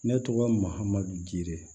Ne tɔgɔ mahamadu jidu yɛrɛ